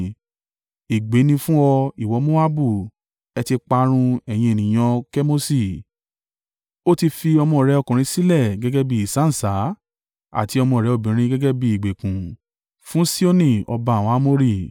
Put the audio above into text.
Ègbé ní fún ọ, ìwọ Moabu! Ẹ ti parun, ẹ̀yin ènìyàn Kemoṣi! Ó ti fi ọmọ rẹ̀ ọkùnrin sílẹ̀ gẹ́gẹ́ bí ìsáǹsá àti ọmọ rẹ̀ obìnrin gẹ́gẹ́ bí ìgbèkùn fún Sihoni ọba àwọn Amori.